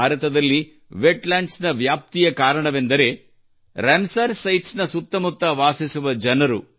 ಭಾರತದಲ್ಲಿ ವೆಟ್ಲ್ಯಾಂಡ್ಸ್ ನ ವ್ಯಾಪ್ತಿಯ ಕಾರಣವೆಂದರೆ ರಾಮಸರ್ ಸೈಟ್ಸ್ ನ ಸುತ್ತಮುತ್ತ ವಾಸಿಸುವ ಜನರು